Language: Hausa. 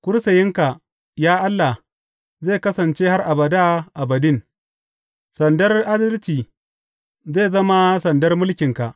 Kursiyinka, ya Allah, zai kasance har abada abadin; sandar adalci zai zama sandar mulkinka.